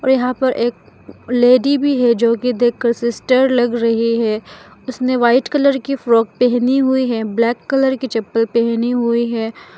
और यहां पर एक लेडी भी है जोकि देखकर सिस्टर लग रही है उसने व्हाइट कलर की फ्रॉक पहनी हुई है ब्लैक कलर की चप्पल पहनी हुई है।